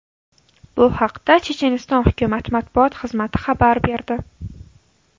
Bu haqda Checheniston hukumati matbuot xizmati xabar berdi .